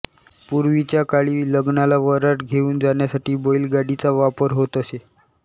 पूर्वीच्या काळी लग्नाला वऱ्हाड घेऊन जाण्यासाठी बैलगाडीचा वापर होत असे